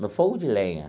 No fogo de lenha.